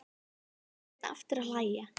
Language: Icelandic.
Þá fór Sveinn aftur að hlæja.